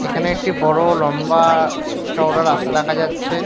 এখানে একটি বড় লম্বা-আ চওড়া রাস্তা দেখা যাচ্ছে ।